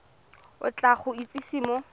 o tla go itsise mo